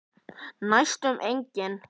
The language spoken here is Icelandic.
Næstum engin.